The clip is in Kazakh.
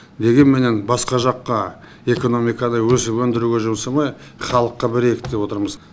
дегенменен басқа жаққа экономиканы өсіп өндіруге жұмсамай халыққа берейік деп отырмыз